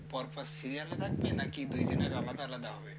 পরপর serial থাকবে নাকি দুইজনের আলাদা আলাদা হবে?